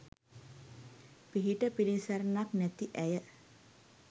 පිහිට පිළිසරණක් නැති ඇය